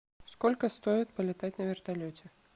сколько стоит полетать на вертолете